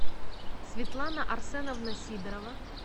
светлана арсеновна сидорова